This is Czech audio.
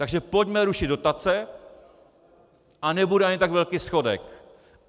Takže pojďme rušit dotace a nebude ani tak velký schodek.